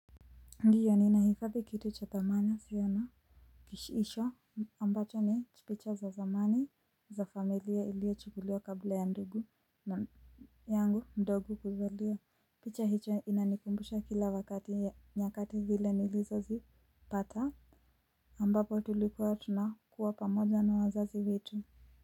Ndiyo ni nahifadhi kitu cha thamana isio na kishisho ambacho ni chipicha za zamani za familia iliochukuliwa kabla ya ndugu yangu ndio kukuzala picha hicho inanikumbusha kila wakati nyakati vile nilizo zipata ambapo tulikuwa tunakuwa pamoja na wazazi wetu.